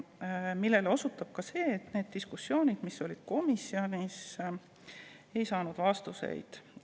Sellele osutab ka see, et selle diskussiooni käigus, mis komisjonis toimus, me vastuseid ei saanud.